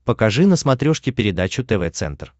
покажи на смотрешке передачу тв центр